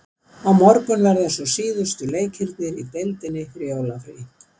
Á morgun verða svo síðustu leikirnir í deildinni fyrir jólafrí.